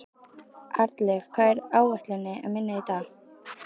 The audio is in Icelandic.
Arnleif, hvað er á áætluninni minni í dag?